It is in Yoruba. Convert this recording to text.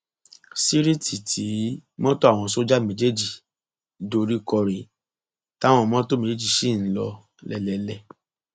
síríìtì tí mọtò àwọn sójà méjèèjì dorí kò rèé táwọn mọtò méjèèjì ṣì ń lò lélẹẹlẹ